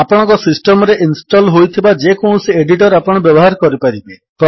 ଆପଣଙ୍କ ସିଷ୍ଟମ୍ ରେ ଇନଷ୍ଟଲ୍ ହୋଇଥିବା ଯେକୌଣସି ଏଡିଟର୍ ଆପଣ ବ୍ୟବହାର କରିପାରିବେ